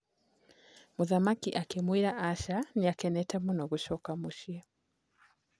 Mũthamaki akĩmwĩra aca nĩakenete mũno gũcoka mũciĩ.